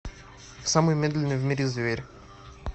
самый медленный в мире зверь